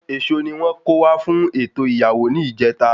Èso ni wón kó wá fún ètò ìyàwó ní ìjeta